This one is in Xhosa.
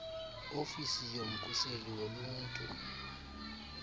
ofisi yomkhuseli woluntu